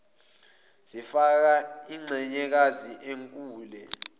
zifaka inxenyekazi enkule